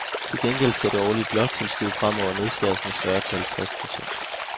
Til gengæld skal det årlige bloktilskud fremover nedskæres med fyrre til halvtreds procent.